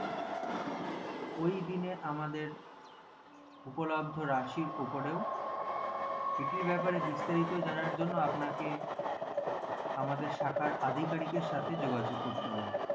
ওই দিনে আমাদের উপলদ্ধ রাখির ওপরও সেটির ব্যাপারে বিস্তারিত জানার জন্য আপনাকে আমাদের শাখার অধিকারিকের সাথে যোগাযোগ করতে হবে